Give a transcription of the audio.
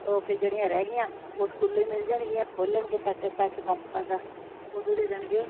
ਉਹ ਫਿਰ ਜਿਹੜੀਆਂ ਰਹਿ ਗਈਆਂ ਉਹ ਸਕੂਲੋ ਮਿਲ ਜਾਨ ਗਈਆਂ ਖੋਲਣਗੇ ਸੈੱਟ ਕਿਤਾਬਾਂ ਦਾ ਓਦੋ ਦੇ ਦੇਣਗੇ।